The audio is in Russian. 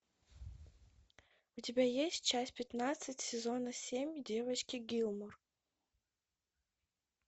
у тебя есть часть пятнадцать сезона семь девочки гилмор